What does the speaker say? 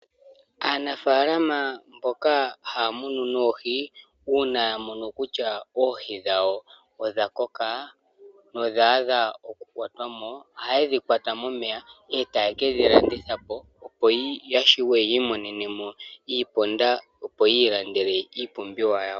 Aanafaalama mboka haya munu noohi uuna ya mono kutya oohi dhawo odha koka nodha adha oku kwatwa mo, ohaye dhi kwata momeya, etaye kedhi landitha opo ya shiwe yi imonene mo iiponda opo yi ilandele iipumbiwa yawo.